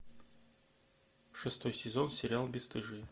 шестой сезон сериал бесстыжие